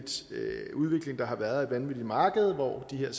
udvikling der har været et vanvittigt marked hvor det har